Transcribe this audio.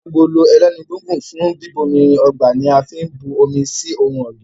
Agolo ẹlẹ́nu gígùn fún bíbomirin ọgbà ní a fín bù omí sí ohùn ògbìn